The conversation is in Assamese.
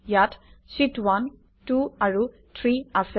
ইয়াত শীত1 2 আৰু 3 আছে